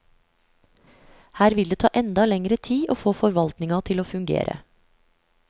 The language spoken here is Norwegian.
Her vil det ta enda lengre tid å få forvaltinga til å fungere.